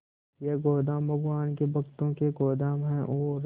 ये गोदाम भगवान के भक्तों के गोदाम है और